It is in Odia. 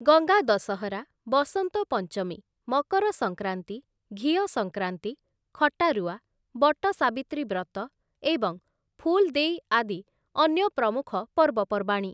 ଗଙ୍ଗା ଦଶହରା, ବସନ୍ତ ପଞ୍ଚମୀ, ମକର ସଂକ୍ରାନ୍ତି, ଘିଅ ସଂକ୍ରାନ୍ତି, ଖଟାରୁଆ, ବଟ ସାବିତ୍ରୀ ବ୍ରତ ଏବଂ ଫୁଲ୍ ଦେଇ ଆଦି ଅନ୍ୟ ପ୍ରମୁଖ ପର୍ବପର୍ବାଣୀ ।